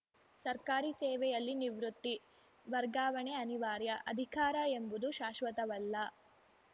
ಸರ್ಕಾರಿ ಸೇವೆಯಲ್ಲಿ ನಿವೃತ್ತಿ ವರ್ಗಾವಣೆ ಅನಿವಾರ್ಯ ಅಧಿಕಾರ ಎಂಬುದು ಶಾಶ್ವತವಲ್ಲ